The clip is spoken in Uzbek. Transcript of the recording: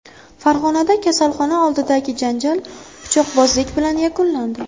Farg‘onada kasalxona oldidagi janjal pichoqbozlik bilan yakunlandi.